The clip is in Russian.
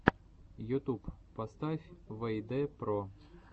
ютуб поставь вэйдэ про